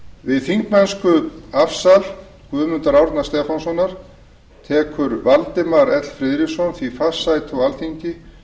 við þingmennskuafsal guðmundar árna stefánssonar tekur valdimar l friðriksson því fast sæti á alþingi